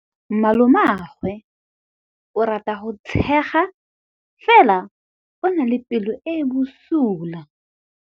Malomagwe o rata go tshega fela o na le pelo e e bosula.